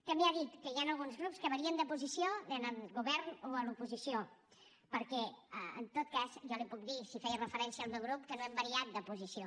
també ha dit que hi han alguns grups que varien de posició en el govern o a l’oposició perquè en tot cas jo li puc dir si feia referència al meu grup que no hem variat de posició